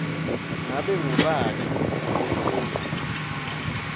ngabe ngubani lofuna